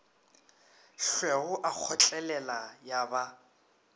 hlwego a kgotlelela ya ba